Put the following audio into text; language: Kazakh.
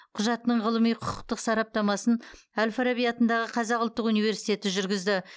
құжаттың ғылыми құқықтық сараптамасын әл фараби атындағы қазақ ұлттық университеті жүргізді